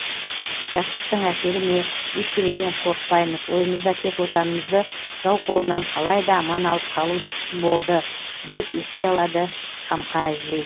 жастықтың әсері ме ештеңеден қорықпаймыз ойымызда тек отанымызды жау қолынан қалай да аман алып қалу болды деп еске алады қамқа әжей